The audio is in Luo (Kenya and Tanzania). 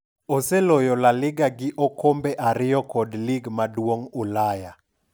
Oseloyo La Liga gi okombe ariyo kod lig maduong' Ulaya.